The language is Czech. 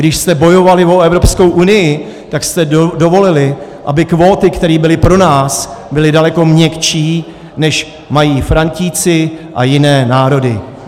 Když jste bojovali o Evropskou unii, tak jste dovolili, aby kvóty, které byly pro nás, byly daleko měkčí, než mají Frantíci a jiné národy.